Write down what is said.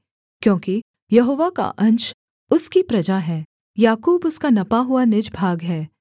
क्योंकि यहोवा का अंश उसकी प्रजा है याकूब उसका नपा हुआ निज भाग है